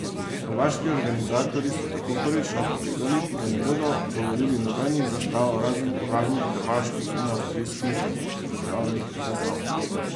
Hrvaški organizatorji so tako prvič napovedali, da ne bodo dovolili nobenih zastav razen uradnih hrvaških in avstrijskih državnih zastav.